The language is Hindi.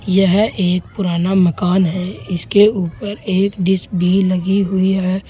यह एक पुराना मकान है इसके ऊपर एक डिश भी लगी हुई है।